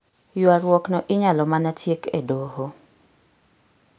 Ywaruokno inyalo mana tiek e doho.